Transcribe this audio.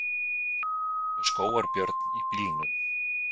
Með skógarbjörn í bílnum